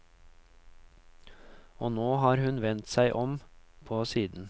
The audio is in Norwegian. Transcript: Og nå har hun vendt seg om på siden.